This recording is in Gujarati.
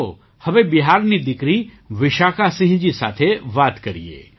આવો હવે બિહારની દીકરી વિશાખાસિંહજી સાથે વાત કરીએ